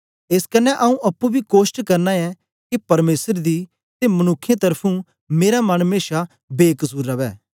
एस कन्ने आंऊँ अप्पुं बी कोष्ट करना ऐ के परमेसर दी ते मनुक्खें त्र्फुं मेरा मन मेशा बेकसुर रवै